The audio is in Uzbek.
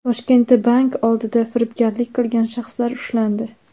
Toshkentda bank oldida firibgarlik qilgan shaxslar ushlandi.